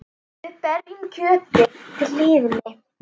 Við berjum kjötið til hlýðni.